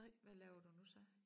Hvad laver du nu så?